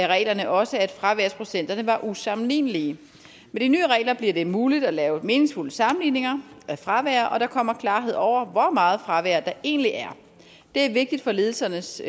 reglerne også at fraværsprocenterne var usammenlignelige med de nye regler bliver det muligt at lave meningsfulde sammenligninger af fravær og der kommer klarhed over hvor meget fravær der egentlig er det er vigtigt for ledelsernes